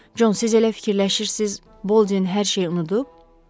Con, siz elə fikirləşirsiz, Bolden hər şeyi unudub?